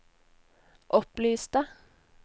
opplyste